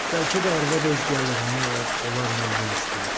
Bəlkə də arvad öz gəlirini o, onlarla bölüşdürür.